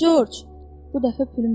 Corc, bu dəfə Pülüm dilləndi.